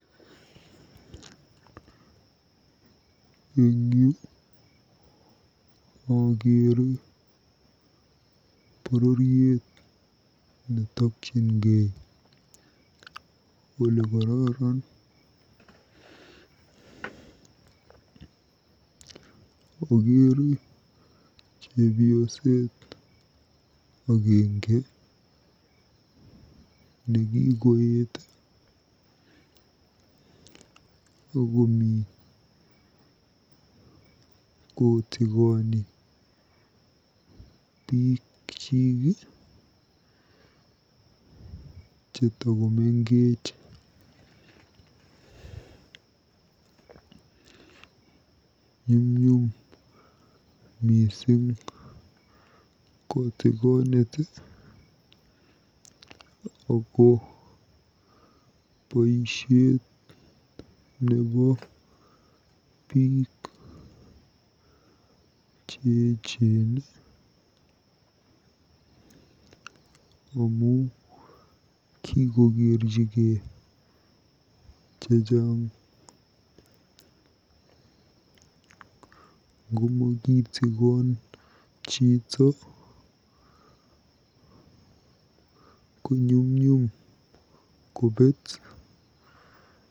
Eng yu akeere bororirt netokyingei olekararn. Okeere chebioset agenge nekikoet akomi kotikoni bikyik chetakomengech. Nyumnyum mising kotikonet ako boisiet nebo biik cheecen amu kikokerchigei chechang. Ngomokitikon chito ko nyumnyum kobeet.